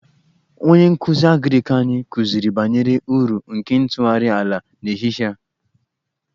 Onye nkụzi agrik anyị kụziri banyere uru nke ntụgharị ala n'ehihie a